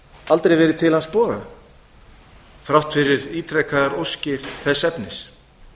aldrei verið til hans boðað þrátt fyrir ítrekaðar óskir þess efnis